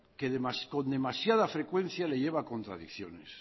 que con demasiada frecuencia le lleva a contradicciones